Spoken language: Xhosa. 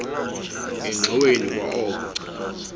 engxoweni kwa oko